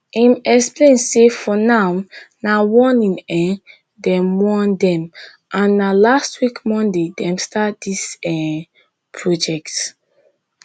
im explain say for now na warning um dem warn dem and na last week monday dem start dis um project